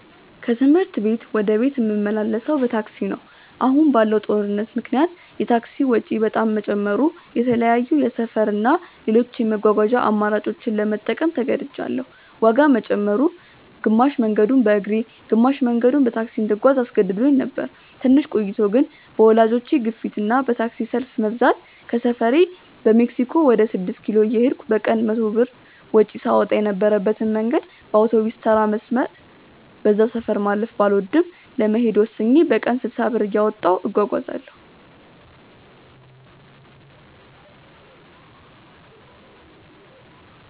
ከትምህርት ቤት ወደ ቤት ምመላለሰው በታክሲ ነው። አሁን ባለው ጦርነት ምክንያት የታክሲ ወጪ በጣም መጨመሩ የተለያዩ የሰፈር እና ሌሎች የመጓጓዣ አማራጮችን ለመጠቀም ተገድጅያለው። ዋጋ መጨመሩ፣ ግማሽ መንገዱን በእግሬ ግማሽ መንገዱን በታክሲ እንድጓዝ አስገድዶኝ ነበር። ትንሽ ቆይቶ ግን በወላጆቼ ግፊት እና በታክሲ ሰልፍ መብዛት ከሰፈሬ በሜክሲኮ ወደ ስድስት ኪሎ እየሄድኩ በቀን 100 ብር ወጪ ሳወጣ የነበረበትን መንገድ በአውቶቢስተራ መስመር (በዛ ሰፈር ማለፍ ባልወድም) ለመሄድ ወስኜ በቀን 60 ብር እያወጣሁ እጓጓዛለው።